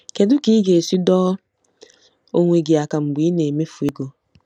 Kedu ka ị ga-esi dọọ onwe gị aka mgbe ị na-emefu ego?